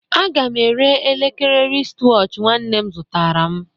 A ga m ere elekere wristwatch nwanne m zụtara m